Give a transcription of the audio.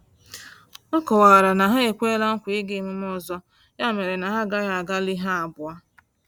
Ọ kọwara na ha ekwela nkwa ịga emume ọzọ ya mere na ha agaghị agalị ha abụọ